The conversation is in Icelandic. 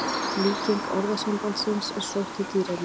Líking orðasambandsins er sótt í dýraríkið.